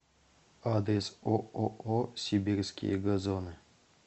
адрес ооо сибирские газоны